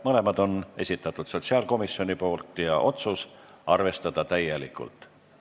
Mõlemad on esitanud sotsiaalkomisjon ja otsus on arvestada täielikult.